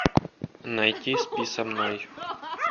найти спи со мной